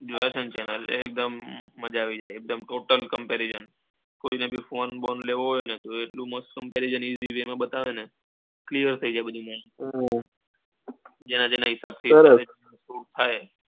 એકદમ મજા આવી જાય એટલે total, comparison કોઈને બી phone બોન લેવો હોય ને તો એટલું મસ્ત comparison બતાવે ને clear થઇ જાય બધું હા જેન જેના હિસાબ થી થાય,